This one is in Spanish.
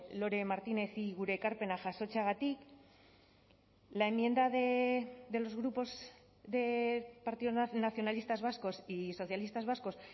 lore martinezi gure ekarpena jasotzeagatik la enmienda de los grupos de partido nacionalistas vascos y socialistas vascos